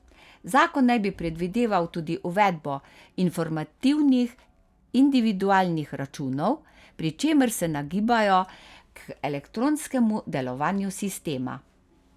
Zakon naj bi predvideval tudi uvedbo informativnih individualnih računov, pri čemer se nagibajo k elektronskemu delovanju sistema.